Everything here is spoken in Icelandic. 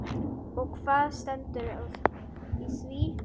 Og hvað stendur í því?